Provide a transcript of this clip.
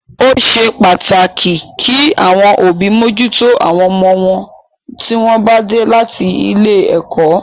Ó ṣe pàtàkì kí àwọn òbí mójútó àwọn ọmọ wọn tí wọ́n bá dé láti ilé ẹ̀kọ́.